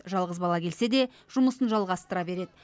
жалғыз бала келсе де жұмысын жалғастыра береді